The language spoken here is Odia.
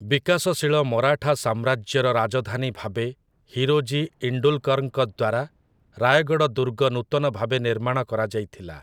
ବିକାଶଶୀଳ ମରାଠା ସାମ୍ରାଜ୍ୟର ରାଜଧାନୀ ଭାବେ ହିରୋଜି ଇଣ୍ଡୁଲକରଙ୍କ ଦ୍ୱାରା ରାୟଗଡ଼ ଦୁର୍ଗ ନୂତନ ଭାବେ ନିର୍ମାଣ କରାଯାଇଥିଲା ।